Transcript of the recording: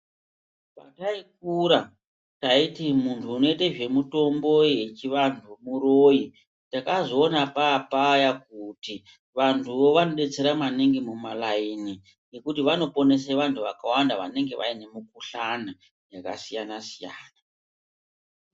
Patai kura, taiti munhu unoite zvemutombo yechivanhu muroyi, takazoona paapaya kuti vantuvo vanodetsera maningi mumalaini ngekuti vanoponese vanhu vakawanda vanenge vaine mukhuhlani yakasiyana siyana